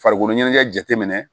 Farikolo ɲɛnajɛ jateminɛ